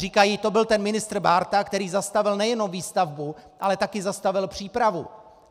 Říkají: To byl ten ministr Bárta, který zastavil nejenom výstavbu, ale také zastavil přípravu.